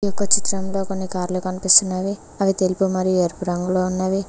ఒక్క చిత్రంలో కొన్ని కార్లు కనిపిస్తున్నవి అవి తెలుగు మరి ఎరుపు రంగులో ఉన్నవి.